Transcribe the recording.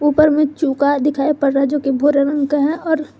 ऊपर मे चुका दिखाई पड़ रहा है जोकि भूरे रंग का है और--